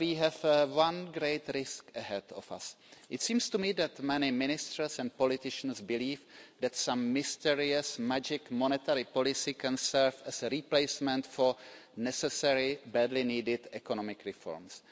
Still, we have one great risk ahead of us it seems to me that many ministers and politicians believe that some mysterious magic monetary policy can serve as a replacement for necessary, badly needed economic reforms.